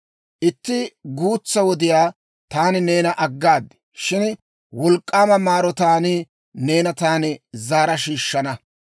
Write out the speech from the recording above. «Itti guutsaa wodiyaw taani neena aggaad; shin wolk'k'aama maarotaan neena taani zaara shiishshana.